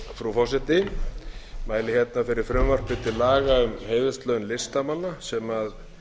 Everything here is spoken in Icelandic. frú forseti ég mæli hérna fyrir frumvarp til laga um heiðurslaun listamanna sem